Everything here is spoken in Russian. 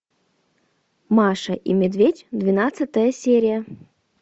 маша и медведь двенадцатая серия